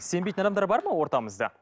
сенбейтін адамдар бар ма ортамызда